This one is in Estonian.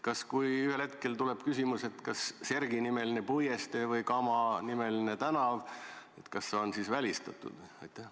Kui ühel hetkel tekib küsimus, kas võiks olla Sergij-nimeline puiestee või Kama-nimeline tänav, on need siis välistatud?